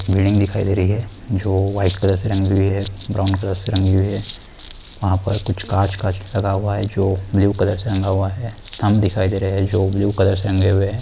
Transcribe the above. Building दिखाई दे रही है जो व्हाइट कलर से रंगी हुई है ब्राउन कलर से रंगी हुई है वहाँ पर कुछ काँच-काँच लगा हुआ है जो ब्लू कलर से रंगा हुआ है थम्ब दिखाई दे रहे है जो ब्लू कलर से रंगे हुए है।